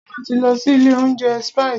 Báyọ̀ ti lọ sí ilé oúnjẹ Spices.